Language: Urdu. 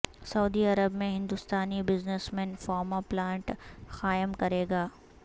سعودی عرب میں ہندوستانی بزنسمین فارما پلانٹ قائم کرے گا